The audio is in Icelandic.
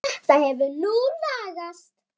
Þetta hefur nú lagast.